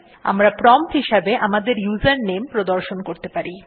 আমরা প্রম্পট হিসাবে আমাদের ইউজারনেম প্রদর্শন করতে পারি